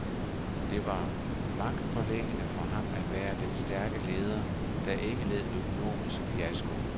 Det var magtpåliggende for ham at være den stærke leder, der ikke led økonomisk fiasko.